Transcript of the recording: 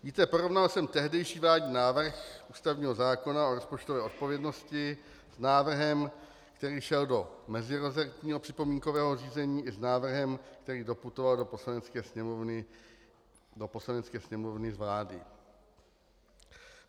Víte, porovnal jsem tehdejší vládní návrh ústavního zákona o rozpočtové odpovědnosti s návrhem, který šel do meziresortního připomínkového řízení, i s návrhem, který doputoval do Poslanecké sněmovny z vlády.